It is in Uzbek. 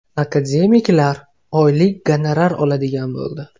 Akademiklar oylik gonorar oladigan bo‘ldi.